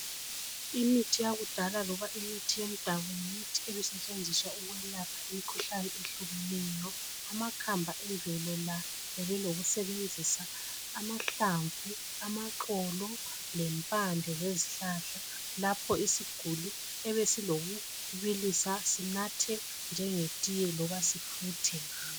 Imithi yakudala loba imithi yomdabu., yimithi ebisetshenziswa ukwelapha imikhuhlane ehlukileyo. Amakhamba emvelo la, bebelokusebenzisa amahlamvu, amaxolo. lempande zezihlahla. Lapho isiguli ebesilakho ukubilisa, sinathe njengetiye, loba sifuthe.